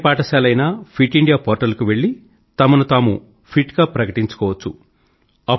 ఏ పాఠశాల అయినా fit India portal కు వెళ్ళి తమను తాము ఫిట్ గా ప్రకటించుకోవచ్చు